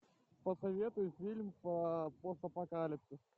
посоветуй фильм про постапокалипсис